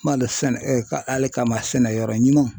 Malo sɛnɛ alekama sɛnɛyɔrɔ ɲuman